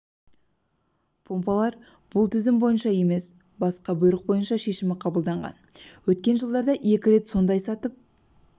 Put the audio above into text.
помпалар бұл тізім бойынша емес басқа бұйрық бойынша шешімі қабылданған өткен жылдарда екі рет сондай сатып